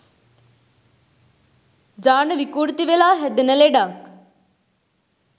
ජාන විකෘති වෙලා හැදෙන ලෙඩක්.